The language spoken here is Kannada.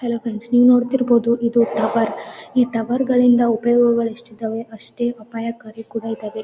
ಹೆಲೋ ಫ್ರೆಂಡ್ಸ ನಿವ ನೋಡ್ತಿರಬಹುದು ಇದು ಟವರ್ ಈ ಟವರ್ಗ ಳಿಂದ ಉಪಯೋಗಗಳು ಎಸ್ಟ್ ಇದ್ದವೇ ಅಷ್ಟೇ ಅಪಾಯಕಾರಿ ಕೂಡ ಇದ್ದಾವೆ.